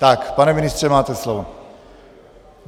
Tak, pane ministře, máte slovo.